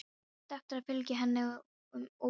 Og áttu eftir að fylgja henni um ókomin ár.